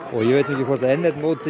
ég veit ekki hvort n eitt mótið